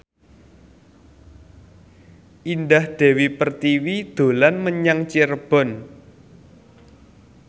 Indah Dewi Pertiwi dolan menyang Cirebon